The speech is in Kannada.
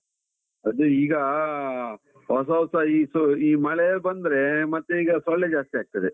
ಅದೆ ಈಗಾ, ಹೊಸ ಹೊಸ ಈ ಮಳೆ ಬಂದ್ರೆ ಮತ್ತೆ ಈಗ ಸೊಳ್ಳೆ ಜಾಸ್ತಿ ಆಗ್ತದೆ.